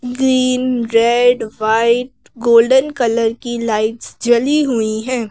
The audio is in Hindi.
Green red white golden colour की लाइट्स जली हुईं हैं।